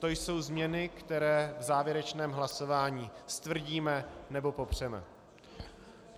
To jsou změny, které v závěrečném hlasování stvrdíme nebo popřeme.